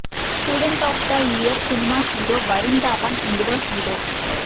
student of the year cinema hero Varun Dhawan ఇందులో hero